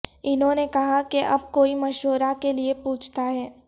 انہوں نے کہا کہ اب کوئی مشورہ کے لئے پوچھتا ہے